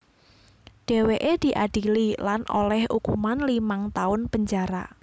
Dhèwèké diadili lan olèh ukuman limang taun penjara